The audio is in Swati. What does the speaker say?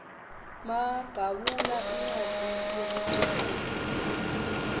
magawula incwadzi yelicophelo